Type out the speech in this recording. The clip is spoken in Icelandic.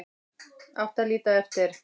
Átti að líta eftir